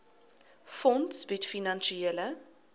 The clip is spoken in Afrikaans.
fonds bied finansiële